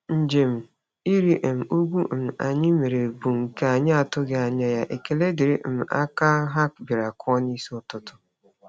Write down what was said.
Njem ịrị um ugwu um anyị mere bụ nke anyị atụghị anya ya, ekele dịrị um aka ha bịara kụọ n'isi ụtụtụ.